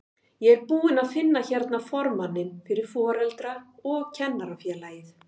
Ég er búinn að finna hérna formanninn fyrir Foreldra- og kennarafélagið!